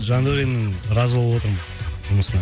жандәуреннің разы болып отырмын жұмысына